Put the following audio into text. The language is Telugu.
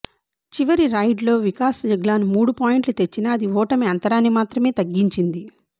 చివరి రైడ్లో వికాస్ జగ్లాన్ మూడు పాయింట్లు తెచ్చినా అది ఓటమి అంతరాన్ని మాత్రమే తగ్గించింది